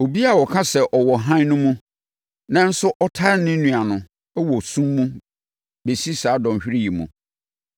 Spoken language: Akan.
Obiara a ɔka sɛ ɔwɔ hann no mu, nanso ɔtane ne nua no wɔ sum mu bɛsi saa dɔnhwereɛ yi mu.